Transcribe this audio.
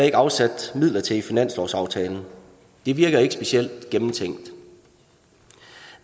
ikke afsat midler til i finanslovsaftalen det virker ikke specielt gennemtænkt